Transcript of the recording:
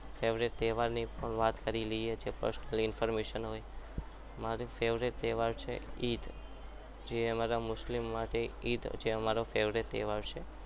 Favourite તહેવારની પણ વાત કરી લે છે fast information મારો favourite તહેવાર છે એ જ જે અમારા મુસ્લિમ માટે favourite તહેવાર છે.